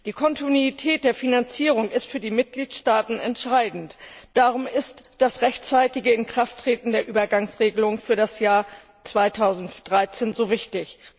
Die Kontinuität der Finanzierung ist für die Mitgliedstaaten entscheidend, darum ist das rechtzeitige Inkrafttreten der Übergangsregelung für das Jahr 2013 so wichtig.